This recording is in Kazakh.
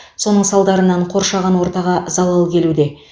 соның салдарынан қоршаған ортаға залал келуде